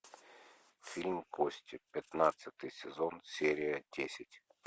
фильм кости пятнадцатый сезон серия десять